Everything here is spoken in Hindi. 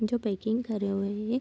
जो पैकिंग करे हए है।